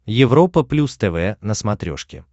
европа плюс тв на смотрешке